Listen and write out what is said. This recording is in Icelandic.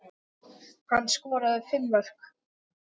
Hann skoraði fimm mörk.